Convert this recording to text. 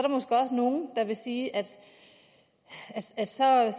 er vil sige at så er